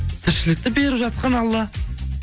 тіршілікті беріп жатқан алла